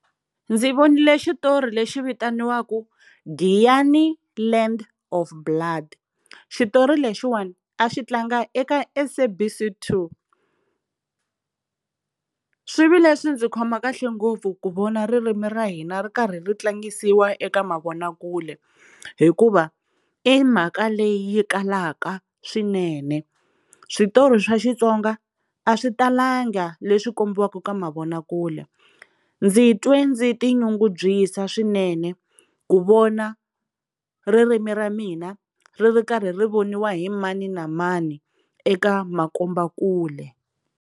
Ndzi vonile xitori lexi vitaniwaka Giyani land Of Blood, xitori lexiwani a xi tlanga eka SABC 2. Swi vi leswi ndzi khoma kahle ngopfu ku vona ririmi ra hina ri karhi ri tlangisiwa eka mavonakule hikuva i mhaka leyi yi kalaka swinene, switori swa Xitsonga a swi talanga leswi kombiwaka ka mavonakule, ndzi twe ndzi ti nyungubyisa swinene ku vona ririmi ra mina ri ri karhi ri voniwa hi mani na mani eka makombakule.